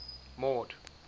mord